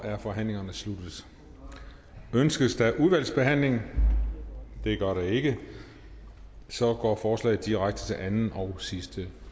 er forhandlingerne sluttet ønskes udvalgsbehandling det gør der ikke og så går forslaget direkte til anden og sidste